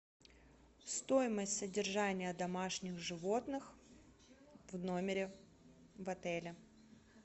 стоимость содержания домашних животных в номере в отеле